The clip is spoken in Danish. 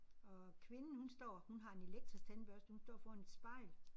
Og kvinden hun står hun har en elektrisk tandbørste hun står foran et spejl